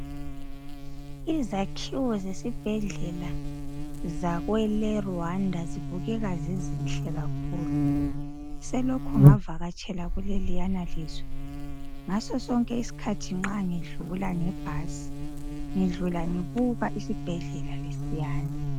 Izakhiwo zebhedlela zakwele aRuwanda zibukeka zizihle kakhulu selokhu ngavakatshela leliyana lizwe ngaso sonke isikhathi ngidlula ngibuka isibhedlela lesiyana